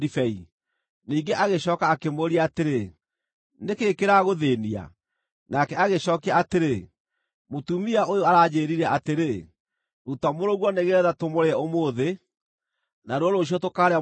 Ningĩ agĩcooka akĩmũũria atĩrĩ, “Nĩ kĩĩ kĩragũthĩĩnia?” Nake agĩcookia atĩrĩ, “Mũtumia ũyũ aranjĩĩrire atĩrĩ, ‘Ruta mũrũguo nĩgeetha tũmũrĩe ũmũthĩ, naruo rũciũ tũkaarĩa mũriũ wakwa.’